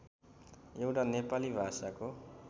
एउटा नेपाली भाषाको